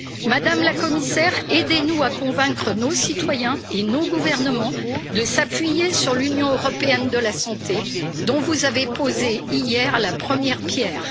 Madame la Commissaire, aidez nous à convaincre nos citoyens et nos gouvernements de s'appuyer sur l'Union européenne de la santé, dont vous avez posé hier la première pierre.